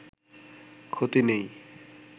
ক্ষতি নেই